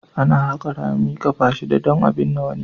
Ana haƙa rami ƙafa shidda don binne wani.